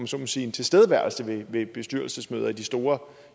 så må sige tilstedeværelse ved bestyrelsesmøder i de store